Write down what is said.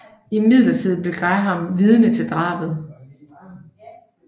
Imidlertid bliver Graham vidne til drabet